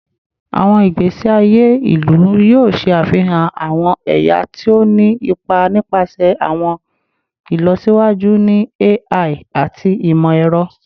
Awọn igbesi aye ilu yoo ṣe afihan awọn ẹya ti o ni ipa nipasẹ awọn ilọsiwaju ni AI ati imọ-ẹrọ